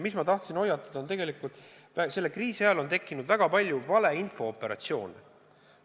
Ja ma tahan hoiatada, et selle kriisi ajal on tekkinud väga palju valeinfo-operatsioone.